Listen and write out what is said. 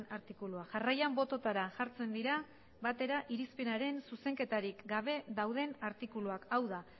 artikulua jarraian bototara jartzen dira batera irizpenaren zuzenketarik gabe dauden artikuluak hau da